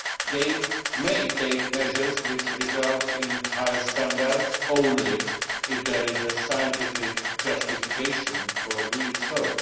They may take measures which result in higher standards only if there is a scientific justification for doing so.